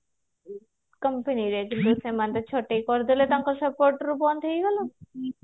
company ରେ ଆ9 ସେମାନେ ତ ଛଟେଇ କରିଦେଲେ ତାଙ୍କ support ରୁ ବନ୍ଦ ହେଇଗଲା